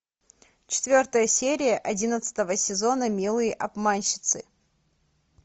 четвертая серия одиннадцатого сезона милые обманщицы